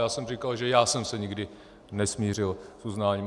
Já jsem říkal, že já jsem se nikdy nesmířil s uznáním.